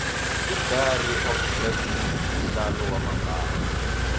idairy of black women mudlalo wamambala